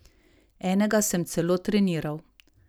Enega sem celo treniral.